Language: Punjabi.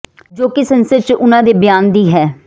ਜੋ ਕਿ ਸੰਸਦ ਚ ਉਨ੍ਹਾਂ ਦੇ ਬਿਆਨ ਦੀ ਹੈ